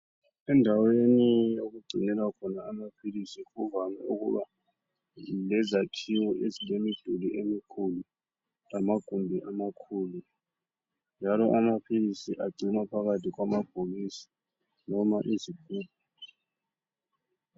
Endaweni okugcinelwa khona amaphilisi Kuvame ukuba lezakhiwo ezilemiduli emikhulu ,lamagumbi amakhulu. Njalo amaphilisi agcinwa phakathi kwamabhokisi noma izigubhu.